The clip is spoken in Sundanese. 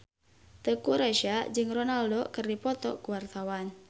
Teuku Rassya jeung Ronaldo keur dipoto ku wartawan